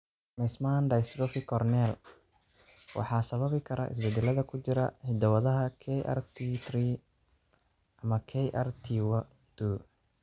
Meesmann dystrophy corneal waxaa sababi kara isbeddellada ku jira hidda-wadaha KRT3 ama KRT12.